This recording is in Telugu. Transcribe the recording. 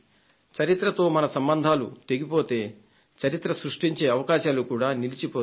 చరిత్రతో మన సంబంధాలు తెగిపోతే చరిత్ర సృష్టించే అవకాశాలు కూడా నిలచిపోతాయి